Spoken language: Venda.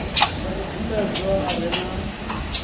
sa mubvumbedzwa a re na